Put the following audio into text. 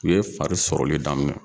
U ye fari sɔrɔli daminɛ.